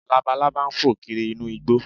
Labalábá ń fò kiri inú igbó